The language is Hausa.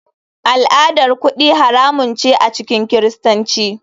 Al'adar kudi haramun ce a cikin kiristanci.